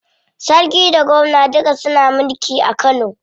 Sarki da gwamna duka suna mulki a Kano.